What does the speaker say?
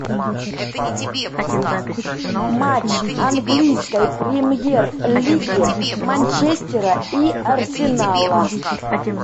матч английской премьер лиги манчестера и арсенала